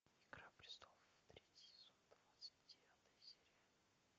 игра престолов третий сезон двадцать девятая серия